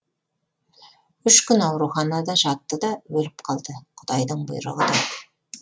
үш күн ауруханада жатты да өліп қалды құдайдың бұйрығы да